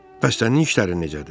Bəs sənin işlərin necədir?